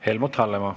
Helmut Hallemaa.